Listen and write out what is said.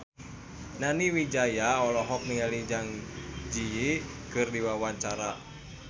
Nani Wijaya olohok ningali Zang Zi Yi keur diwawancara